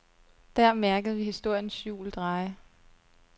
Der mærkede vi historiens hjul dreje.